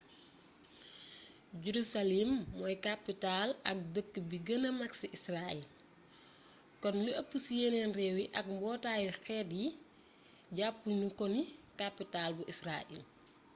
jerusalem mooy capital ak dëkk bi gëna mak ci israel kon lu ëpp ci yéneen réew yi ak mbootaayu xeet yi jàppu ñu ko ni kapital bu israel